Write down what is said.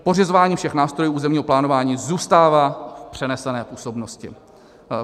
Pořizování všech nástrojů územního plánování zůstává v přenesené působnosti.